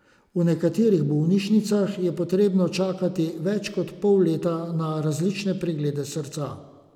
V nekaterih bolnišnicah je potrebno čakati več kot pol leta za različne preglede srca.